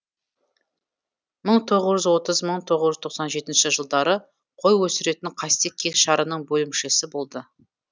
мың тоғыз жүз отыз мың тоғыз жүз тоқсан жетінші жылдары қой өсіретін қастек кеңшарының бөлімшесі болды